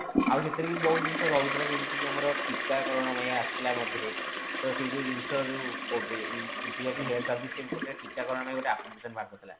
ଆଉ ସେଥିରେ ବି ବହୁତ ଜିନିଷ ରହୁଥିଲା ଯେମିତି କି ଆମର ଯେମିତି କି ଟୀକା କରଣ ପାଇଁ ଆସିଥିଲା ମଝିରେ ତ ସେ ଯୋଉ ଜିନିଷ ଯେଉଁ covid integrating health service ଟୀକା କରଣ ପାଇଁ ଗୋଟେ application ବାହାର କରିଥିଲା'